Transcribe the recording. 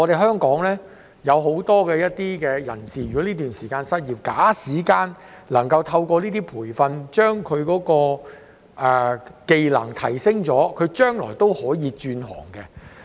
香港有很多人在這段時間失業，假使能夠透過這些培訓，將他的技能提升，將來便可以轉行。